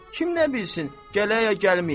Kim nə bilsin gələ ya gəlməyə.